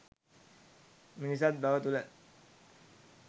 මිනිසත්බව තුළ